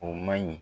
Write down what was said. O man ɲi